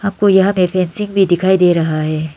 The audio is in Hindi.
आपको यहां भी दिखाई दे रहा है।